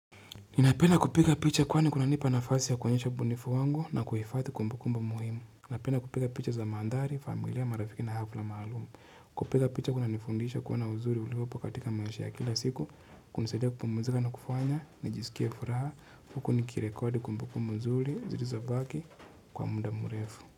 Ninapenda kupiga picha kwani kunanipa nafasi ya kuonyesha ubunifu wangu na kuhifadhi kumbukumbu muhimu. Napenda kupiga picha za mandhari, familia, marafiki na hafla maalumu. Kupiga picha kunanifundisha kuwa na uzuri uliopo katika maisha ya kila siku, kunisadia kupumzika na kufanya, nijisikie furaha, huku nikirekodi kumbukumbu nzuri, zilizobaki, kwa muda mrefu.